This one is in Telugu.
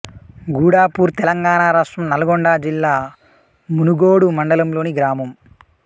గూడాపూర్ తెలంగాణ రాష్ట్రం నల్గొండ జిల్లా మునుగోడు మండలంలోని గ్రామం